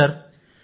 అవును సార్